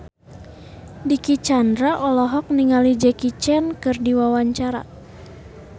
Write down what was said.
Dicky Chandra olohok ningali Jackie Chan keur diwawancara